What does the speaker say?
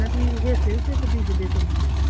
ਇਹਨਾਂ ਦੀ ਤੇ ਬੀਜਦੇ ਸਬਜ਼ੀ?